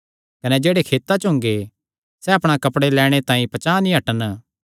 कने जेह्ड़े खेतां च हुंगे सैह़ अपणा कपड़े लैणे तांई पचांह़ ना हटन